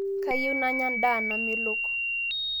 Kayieu nanya ndaa namelok